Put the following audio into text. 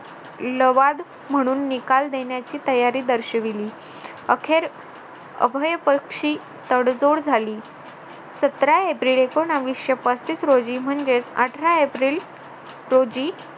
म्हणून निकाल देण्याची तयारी दर्शविली अखेर अभेयपक्षी तडजोड झाली सतरा एप्रिल एकोणविशे पस्तीस रोजी म्हणजेच अठरा एप्रिल रोजी